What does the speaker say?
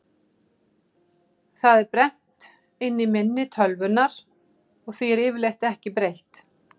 Það er brennt inn í minni tölvunnar og því er yfirleitt ekki breytt.